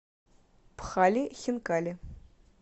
пхали хинкали